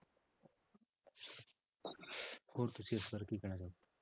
ਹੋਰ ਤੁਸੀਂ ਇਸ ਬਾਰੇ ਕੀ ਕਹਿਣਾ ਚਾਹੋਗੇ।